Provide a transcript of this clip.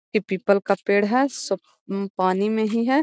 इ पीपल का पेड़ है सब उम्म पानी में ही है।